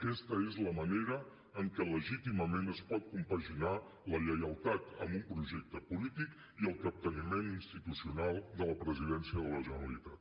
aquesta és la manera en què legítimament es pot compaginar la lleialtat amb un projecte polític i el capteniment institucional de la presidència de la generalitat